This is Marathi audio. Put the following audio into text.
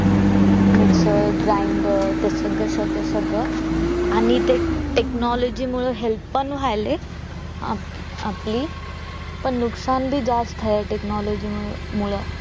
Mixer grinder ते सगळं सगळं सगळं आणि ते technology मूळ health पण व्यायले आप आपली पण नुकसान भी जास्त technology मूळ